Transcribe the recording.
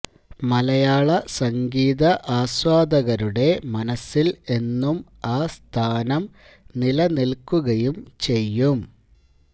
മലയാള സംഗീത ആസ്വാദകരുടെ മനസ്സില് എന്നും ആ സ്ഥാനം നിലനില്ക്കുകയും ചെയ്യും